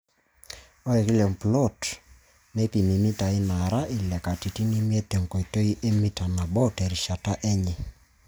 Ore kila emplot neipimi mitaai naara ile katitin imiet te nkoitoi e Mita nabo terishata enye.